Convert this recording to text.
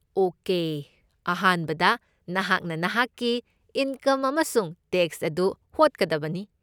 Okay ꯑꯍꯥꯟꯕꯗ ꯅꯍꯥꯛꯅ ꯅꯍꯥꯛꯀꯤ ꯏꯟꯀꯝ ꯑꯃꯁꯨꯡ ꯇꯦꯛꯁ ꯑꯗꯨ ꯍꯣꯠꯀꯗꯕꯅꯤ꯫